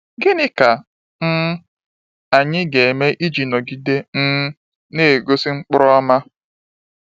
Gịnị ka um anyị ga-eme iji nọgide um na-egosi mkpụrụ ọma?